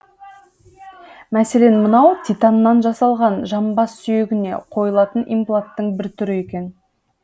мәселен мынау титаннан жасалған жамбас сүйегіне қойылатын импланттың бір түрі екен